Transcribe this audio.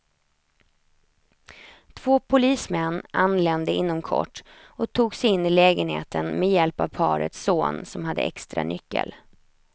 Två polismän anlände inom kort och tog sig in i lägenheten med hjälp av parets son som hade extranyckel.